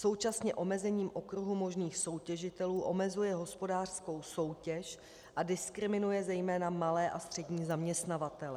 Současně omezením okruhu možných soutěžitelů omezuje hospodářskou soutěž a diskriminuje zejména malé a střední zaměstnavatele.